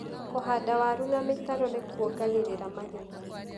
Kũhanda waru na mĩtaro nĩkuongagĩrira magetha.